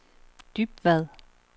Dybvad